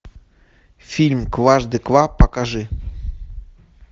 фильм кважды ква покажи